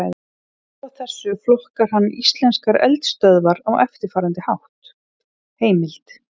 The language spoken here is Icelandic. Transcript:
Út frá þessu flokkar hann íslenskar eldstöðvar á eftirfarandi hátt: Heimild: